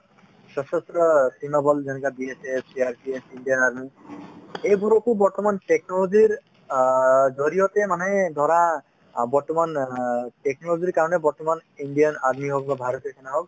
সশস্ত্ৰ সীমাবল যেনেকা দি আছে CRPF ,ইণ্ডিয়ান army এইবোৰকো বৰ্তমান technology ৰ অ জৰিয়তে মানে ধৰা অ বৰ্তমান অ technology ৰ কাৰণে বৰ্তমান ইণ্ডিয়ান army হওক বা ভাৰতীয় সেনা হওক